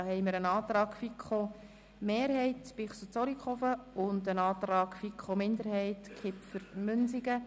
Hier liegen ein Antrag FiKo-Mehrheit/Bichsel und ein Antrag FiKo-Minderheit/Kipfer vor.